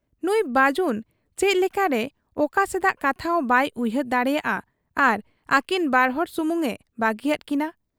ᱱᱩᱸᱭ ᱵᱟᱹᱡᱩᱱ ᱪᱮᱫ ᱞᱮᱠᱟᱨᱮ ᱚᱠᱟ ᱥᱮᱫᱟᱜ ᱠᱟᱛᱷᱟᱦᱚᱸ ᱵᱟᱭ ᱩᱭᱦᱟᱹᱨ ᱫᱟᱲᱮᱭᱟᱫ ᱟ ᱟᱨ ᱟᱹᱠᱤᱱ ᱵᱟᱨᱦᱚᱲ ᱥᱩᱢᱩᱝ ᱮ ᱵᱟᱹᱜᱤᱭᱟᱫ ᱠᱤᱱᱟ ᱾